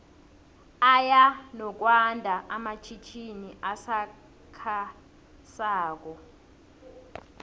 aya nokwando amatjhitjini asakha sako